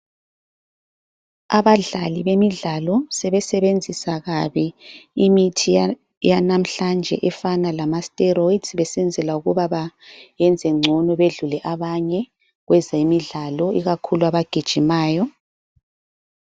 Abadlali bemidlalo sebesebenzisa kabi imithi yanamhlanje efana lama steroids besenzela ukuba bayenzengcono badlule abanye kwezemidlalo ikakhulu abagijimayo.